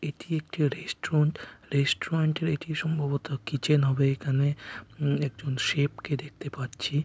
এটি একটি রেস্টুরেন্ট । রেস্টুরেন্টে এর এটি সম্ভবত কিচেন হবে এখানে আ একজন শেফ কে দেখতে পাচ্ছি।